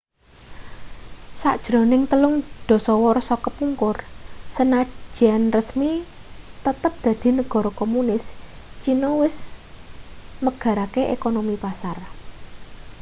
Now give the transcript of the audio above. sajrone telung dasawarsa kepungkur sanajan resmi tetep dadi negara komunis cina wis megarake ekonomi pasar